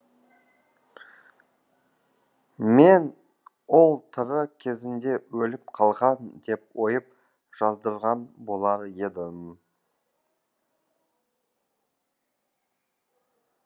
мен ол тірі кезінде өліп қалған деп ойып жаздырған болар едім